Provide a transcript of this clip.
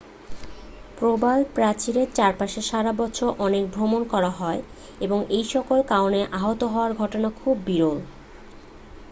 প্রবালপ্রাচীরের চারপাশে সারা বছর অনেক ভ্রমণ করা হয় এবং এইসকল কারণে আহত হওয়ার ঘটনা খুবই বিরল